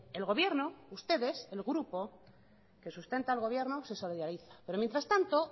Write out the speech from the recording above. el gobierno ustedes el grupo que sustenta el gobierno se solidariza pero mientras tanto